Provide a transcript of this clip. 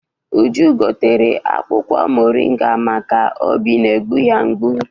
Uju gotere akwụkwọ moringa maka obi na-egbu ya mgbu.